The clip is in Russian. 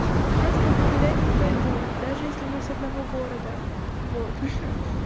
я с тобой гулять не пойду даже если мы с одного города вот ха-ха